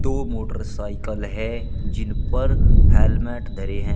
दो मोटरसाइकिल है जिन पर हेलमेट धरे हैं।